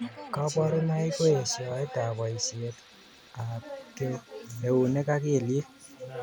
Kaburunoik ko eshoet ab boishet ab keunek ak kelyek.